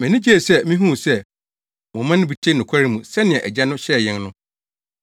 Mʼani gyee sɛ mihuu sɛ mo mma no bi te nokware mu sɛnea Agya no hyɛɛ yɛn no.